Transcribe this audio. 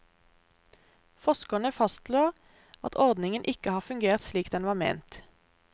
Forskerne fastslår at ordningen ikke har fungert slik den var ment.